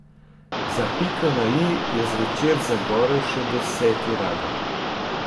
Za piko na i je zvečer zagorel še deseti radar.